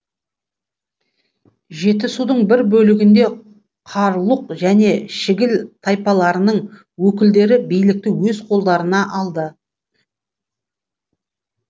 жетісудың бір бөлігінде қарлұқ және шігіл тайпаларының өкілдері билікті өз қолдарына алды